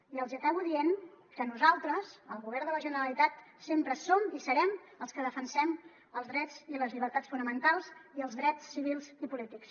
i els hi acabo dient que nosaltres el govern de la generalitat sempre som i serem els que defensem els drets i les llibertats fonamentals i els drets civils i polítics